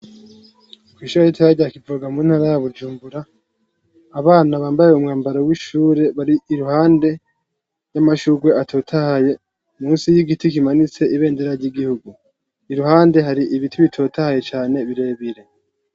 Kwishuri ritoya rya Kivoga mu ntara ya Bujumbura , abana bambay'umwambaro w'ishuri bari iruhande y'amashurwe atotahaye musi y'igiti kimanitse ibendera ry'igihugu, iruhande hari ibiti bitotahaye cane birebire.